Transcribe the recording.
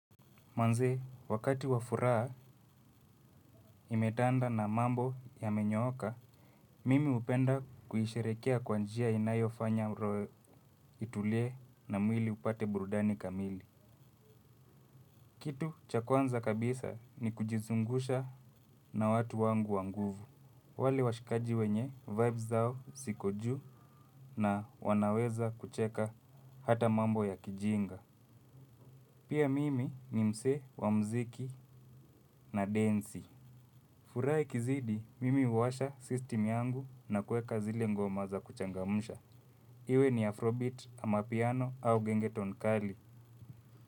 Manze, wakati wa furaa imetanda na mambo ya menyoka, mimi hupenda kuisherekea kwa njia inayo fanya roo itulie na mwili upate burudani kamili. Kitu cha kwanza kabisa ni kujizungusha na watu wangu wa nguvu. Wale washikaji wenye vibes zao siko juu na wanaweza kucheka hata mambo ya kijinga. Pia mimi ni msee wa mziki na densi. Furaa ikizidi, mimi uwasha system yangu na kueka zile ngoma za kuchangamusha. Iwe ni Afrobeat, amapiano au gengeton kali.